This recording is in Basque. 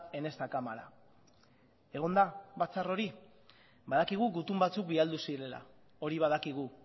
en esta cámara egon da batzar hori badakigu gutun batzuk bialdu zirela hori badakigu